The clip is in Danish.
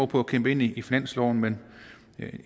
på at kæmpe ind i finansloven men